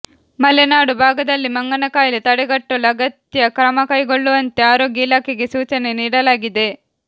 ಮಲೆನಾಡು ಭಾಗದಲ್ಲಿ ಮಂಗನಕಾಯಿಲೆ ತಡೆಗಟ್ಟಲು ಅಗತ್ಯ ಕ್ರಮಕೈಗೊಳ್ಳುವಂತೆ ಆರೋಗ್ಯ ಇಲಾಖೆಗೆ ಸೂಚನೆ ನೀಡಲಾಗಿದೆ